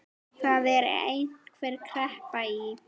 Það er einhver kreppa í